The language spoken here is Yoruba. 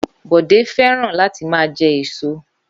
Bọ̀dé fẹ́ràn láti máa jẹ èso.